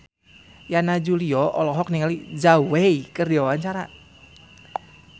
Yana Julio olohok ningali Zhao Wei keur diwawancara